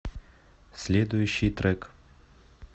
следующий трек